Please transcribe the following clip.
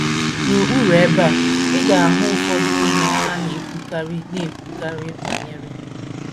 N’okpuru ebe a, ị ga - ahụ ụfọdụ ihe a na - ekwukarị na - ekwukarị banyere.